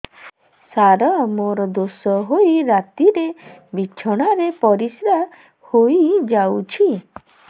ସାର ମୋର ଦୋଷ ହୋଇ ରାତିରେ ବିଛଣାରେ ପରିସ୍ରା ହୋଇ ଯାଉଛି